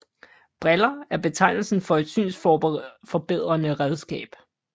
Briller er betegnelsen for et synsforbedrende redskab